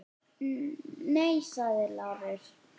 Nei, sagði Lárus.